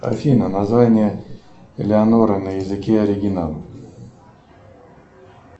афина название элеонора на языке оригинала